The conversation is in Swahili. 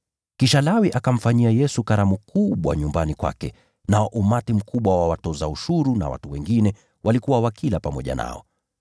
Kisha Lawi akamfanyia Yesu karamu kubwa nyumbani kwake, nao umati mkubwa wa watoza ushuru na watu wengine walikuwa wakila pamoja nao.